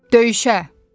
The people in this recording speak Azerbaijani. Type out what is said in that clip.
Döyüşə!